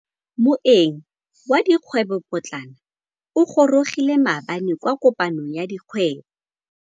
Moêng wa dikgwêbô pôtlana o gorogile maabane kwa kopanong ya dikgwêbô.